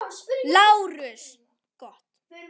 LÁRUS: Gott.